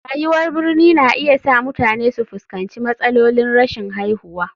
Rayuwar birni na iya sa mutane su fuskanci matsalolin rashin haihuwa.